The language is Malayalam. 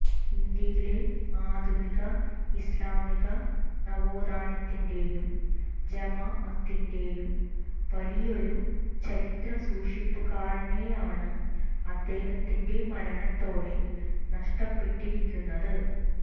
ഇന്ത്യയിലെ ആധുനിക ഇസ്ലാമിക നവോത്ഥാനത്തിന്റെയും ജമാഅത്തിന്റെയും വലിയൊരു ചരിത്ര സൂക്ഷിപ്പുകാരനെയാണ് അദ്ദേഹത്തിന്റെ മരണത്തോടെ നഷ്ടപ്പെട്ടിരിക്കുന്നത്